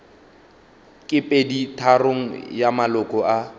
ke peditharong ya maloko a